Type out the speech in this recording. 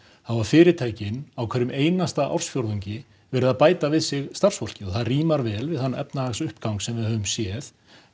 hafa fyrirtækin á hverjum einasta ársfjórðungi verið að bæta við sig starfsfólki og það rímar vel við þann efnahagsuppgang sem við höfum séð